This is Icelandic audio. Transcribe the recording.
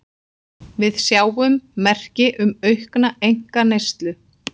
Við sjáum merki um aukna einkaneyslu